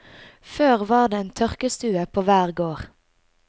Før var det en tørkestue på hver gård.